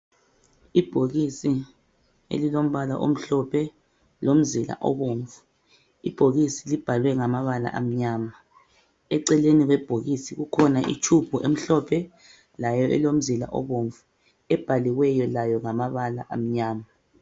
Ibhokisi elilombala omhlophe lomzila obomvu ibhokisi libhalwe ngamabala amnyama eceleni kwebhokisi kukhona itshubhu emhlophe layo elomzila obomvu ebhaliweyo layo ngamabala amnyama